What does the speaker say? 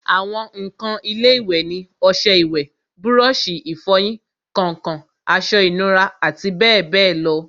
àwọn ǹkan ilé-ìwẹ̀ ni ọsẹ ìwẹ̀, búrọ̀sì ìfọyín, kàǹkàn, aṣọ ìnura àti bẹ́ẹ̀bẹ́ẹ̀ lọ